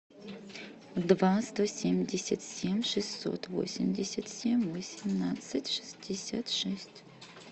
два сто семьдесят семь шестьсот восемьдесят семь восемнадцать шестьдесят шесть